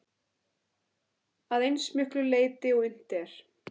Að eins miklu leyti og unnt er.